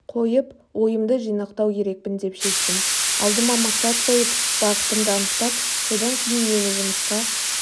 қойып ойымды жинақтау керекпін деп шештім алдыма мақсат қойып бағытымды анықтап содан кейін мені жұмысқа